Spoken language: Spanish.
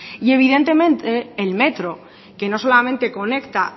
y evidentemente el metro que no solamente conecta